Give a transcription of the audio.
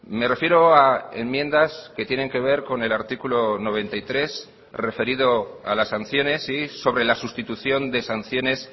me refiero a enmiendas que tienen que ver con el artículo noventa y tres referido a las sanciones y sobre la sustitución de sanciones